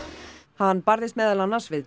hann barðist meðal annars við